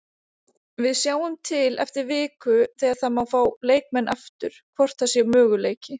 Við sjáum til eftir viku þegar það má fá leikmenn aftur hvort það sé möguleiki.